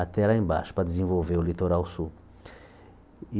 até lá embaixo para desenvolver o litoral sul. E